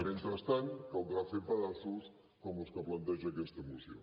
mentrestant caldrà fer pedaços com els que planteja aquesta moció